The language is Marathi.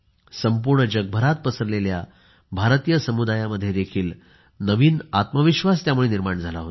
संपूर्ण जगभरात पसरलेल्या भारतीय समुदायामध्ये नवीन आत्मविश्वास निर्माण झाला होता